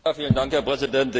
Herr Präsident!